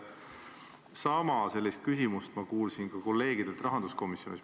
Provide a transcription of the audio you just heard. Sama küsimust kuulsin ma ka kolleegidelt rahanduskomisjonis.